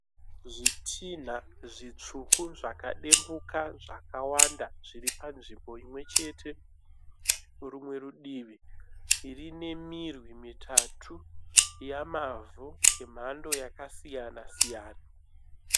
Zvitina zvitsvuku zvakadimbuka zvakawanda zviri panzvimbo imwe chete Rumwe rudivi rune mirwi mitatu yemavhu emhando yakasiyana siyana